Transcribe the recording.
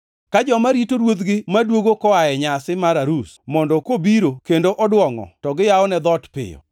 ka joma rito ruodhgi maduogo koa e nyasi mar arus, mondo kobiro kendo oduongʼo to giyawone dhoot piyo.